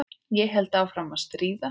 Ég held áfram að stríða.